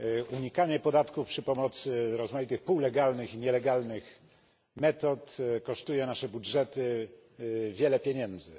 Unikanie podatków przy pomocy rozmaitych półlegalnych i nielegalnych metod kosztuje nasze budżety wiele pieniędzy.